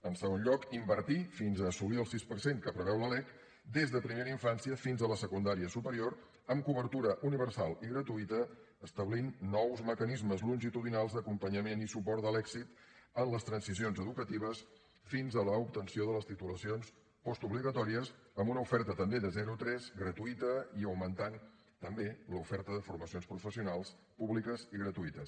en segon lloc invertir fins a assolir el sis per cent que preveu la lec des de primera infància fins a la secundària superior amb cobertura universal i gratuïta i establir nous mecanismes longitudinals d’acompanyament i suport de l’èxit en les transicions educatives fins a l’obtenció de les titulacions postobligatòries amb una oferta també de zero tres gratuïta i augmentant també l’oferta de formacions professionals públiques i gratuïtes